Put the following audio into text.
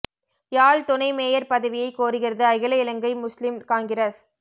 யாழ் துணை மேயர் பதவியை கோருகிறது அகில இலங்கை முஸ்லிம் காங்கிரஸ்